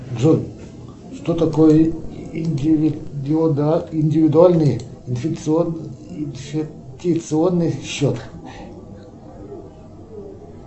джой что такое индивидуальный инвестиционный счет